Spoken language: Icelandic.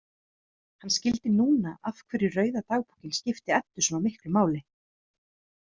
Hann skildi núna af hverju rauða dagbókin skipti Eddu svona miklu máli.